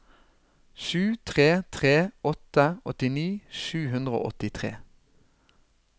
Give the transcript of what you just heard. sju tre tre åtte åttini sju hundre og åttitre